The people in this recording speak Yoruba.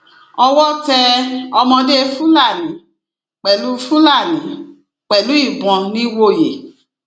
owó tẹ ọmọdé fúlàní pẹlú fúlàní pẹlú ìbọn nìwòye